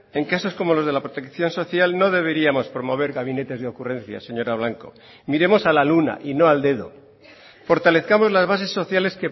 en casos como los de la protección social no deberíamos promover gabinetes de ocurrencias señora blanco miremos a la luna y no al dedo fortalezcamos las bases sociales